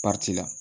la